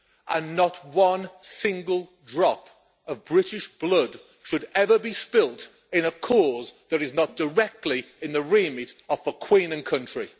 And not one single drop of British blood should ever be spilled in a cause that is not directly in the remit of for Queen and country.'